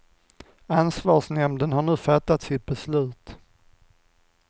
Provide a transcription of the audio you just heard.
Ansvarsnämnden har nu fattat sitt beslut.